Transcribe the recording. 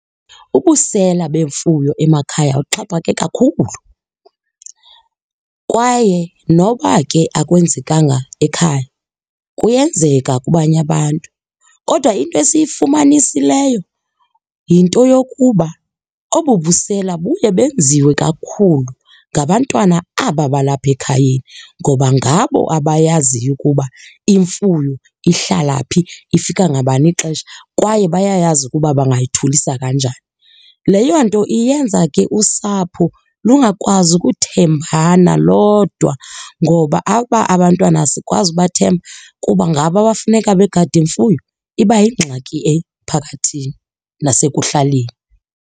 Ubusela bemfuyo emakhaya uxhaphake kakhulu kwaye noba ke akwenzekanga ekhaya kuyenzeka kubanye abantu. Kodwa into esiyifumanisileyo yinto yokuba obu busela buye benziwe kakhulu ngabantwana aba balapha ekhayeni ngoba ngabo abayaziyo ukuba imfuyo ihlala phi, ifika ngabani ixesha kwaye bayayazi ukuba bangyithulisa kanjani. Leyo nto iyenza ke usapho lungakwazi ukuthembana lodwa ngoba aba abantwana asikwazi ubathemba kuba ngabo ke abafuneka begade imfuyo iba yingxaki emphakathini nasekuhlaleni.